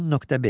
10.5.